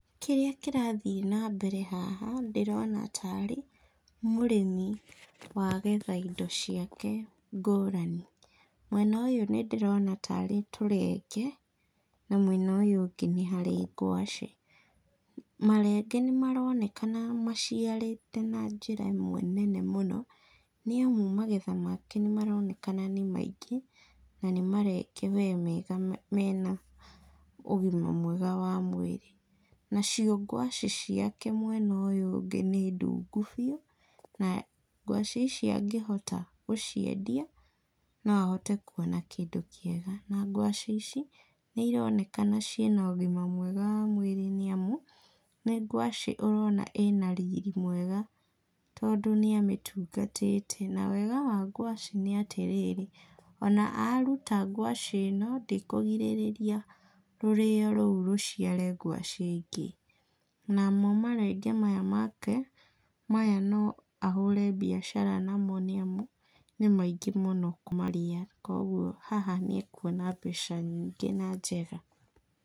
Kĩrĩa kĩrathiĩ na mbere haha, ndĩrona ta arĩ mũrĩmi wagetha indo ciake ngũrani. Mwena ũyũ nĩndĩrona ta arĩ tũrenge, na mwena ũyũ ũngĩ nĩ harĩ ngwacĩ. Marenge nĩmaronekana maciarĩte na njĩra ĩmwe nene mũno, nĩamu magetha make nĩmaronekana nĩ maingĩ, na nĩ marenge we mega mena ũgima mwega wa mwĩrĩ. Nacio ngwacĩ ciake mwena ũyũ ũngĩ nĩ ndungu biũ, na ngwacĩ ici angĩhota gũciendia, no ahote kuona kĩndũ kĩega, na ngwacĩ ici, nĩironekana ciĩna ũgima mwega wa mwĩrĩ nĩamu, nĩ ngwacĩ ũrona ĩna riri mwega, tondũ nĩamĩtungatĩte, na wega wa ngwacĩ, nĩ atĩ rĩrĩ, ona aruta ngwacĩ ĩno, ndĩkũgirĩrĩria rũrĩyo rũu rũciare ngwacĩ ingĩ. Namo marenge maya make, maya no ahũre mbiacara namo nĩamu, nĩ maingĩ mũno kũmarĩa, koguo haha nĩekuona mbeca nyingĩ na njega.